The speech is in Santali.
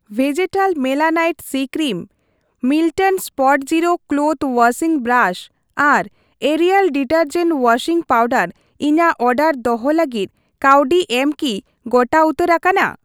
ᱵᱷᱮᱡᱮᱴᱟᱞ melanite c cream, Milton Spotzero clothes washing brush, ᱟᱨ ᱮᱭᱟᱨᱴᱮᱞ ᱰᱤᱴᱟᱨᱡᱮᱱ ᱳᱣᱟᱥᱤᱝ ᱯᱟᱣᱰᱟᱨ ᱤᱧᱟᱹᱜ ᱚᱰᱟᱨ ᱫᱚᱦᱚ ᱞᱟᱹᱜᱤᱫ ᱠᱟᱹᱣᱰᱤ ᱮᱢ ᱠᱤ ᱜᱚᱴᱟ ᱩᱛᱟᱹᱨ ᱟᱠᱟᱱᱟ ?